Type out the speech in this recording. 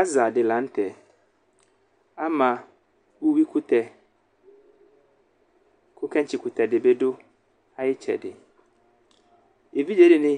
Aza di lanu tɛ Ama uwuikutɛku keŋtsi kutɛ dibi dʋ ayiʋ itsɛdievidze dini